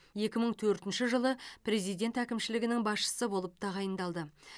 екі мың төртінші жылы президент әкімшілігінің басшысы болып тағайындалды